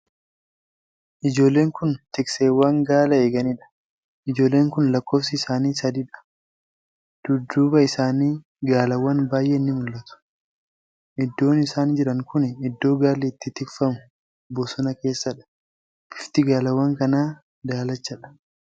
Ijjoollen kun tikseewwan gaala eeganiidha. Ijoolleen kun lakkoofsi isaanii sadiidha. Dudduuba isaanii gaalawwan baay'een nii mul'atu. Iddoon isaan jiran kuni Iddoo gaalli itti tikfamu bosona keessadha. Bifti gaalawwan kanaa daalachadha.